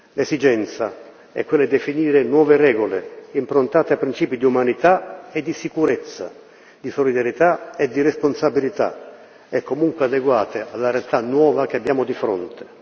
L'esigenza è quella di definire nuove regole improntate a principi di umanità e di sicurezza, di solidarietà e di responsabilità, e comunque adeguate alla realtà nuova che abbiamo di fronte.